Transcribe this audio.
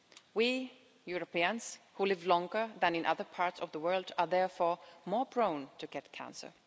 We Europeans who live longer than in other parts of the world are therefore more prone to get cancer.